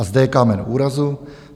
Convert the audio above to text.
A zde je kámen úrazu.